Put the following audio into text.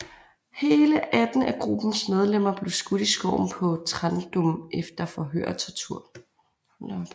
Hele 18 af gruppens medlemmer blev skudt i skoven på Trandum efter forhør og tortur